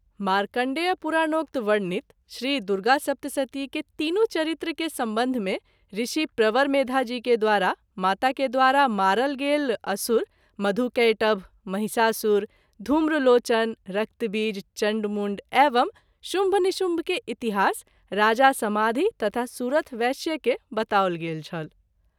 मार्कण्डेय पुराणोक्त वर्णित श्रीदुर्गासप्तशती के तीनू चरित्र के संबंध में ऋषि प्रवर मेधा जी के द्वारा माता के द्वारा मारल गेल असुर मधु-कैटभ, महिषासुर, धुम्रलोचन, रक्तबीज, चण्ड-मुण्ड, एवं शुम्भ-निशुम्भ के इतिहास राजा समाधि तथा सुरथ वैश्य के बताओल गेल छल।